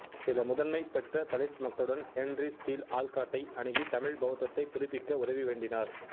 சில முதன்மை பெற்ற தலித் மக்களுடன் ஹென்றி ஸ்டீல் ஆல்காட்டை அணுகி தமிழ் பௌத்தத்தை புதுப்பிக்க உதவி வேண்டினார்